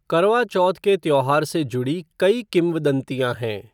करवा चौथ के त्यौहार से जुड़ी कई किंवदंतियां हैं।